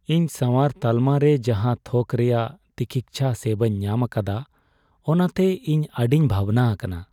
ᱤᱧ ᱥᱟᱣᱟᱨ ᱛᱟᱞᱢᱟ ᱨᱮ ᱡᱟᱦᱟᱸ ᱛᱷᱚᱠ ᱨᱮᱭᱟᱜ ᱛᱤᱠᱤᱪᱪᱷᱟ ᱥᱮᱵᱟᱧ ᱧᱟᱢ ᱟᱠᱟᱫᱟ, ᱚᱱᱟᱛᱮ ᱤᱧ ᱟᱹᱰᱤᱧ ᱵᱷᱟᱵᱽᱱᱟ ᱟᱠᱟᱱᱟ ᱾